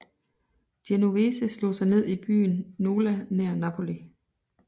Genovese slog sig ned i byen Nola nær Napoli